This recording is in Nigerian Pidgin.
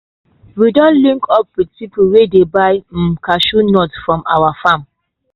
we don link up with people wey dey buy um cashew nuts from our farm.